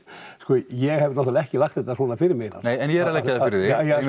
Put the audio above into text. ég hef náttúrulega ekki lagt þetta svona fyrir mig en ég er að leggja það fyrir